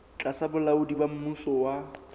tlasa bolaodi ba mmuso wa